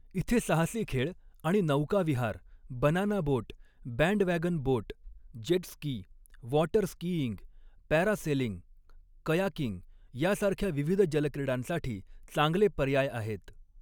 इथे साहसी खेळ आणि नौकाविहार, banana boat, bandwagon boat, jet ski, water skiing, parasailing, kayaking यासारख्या विविध जलक्रीडांसाठी चांगले पर्याय आहेत.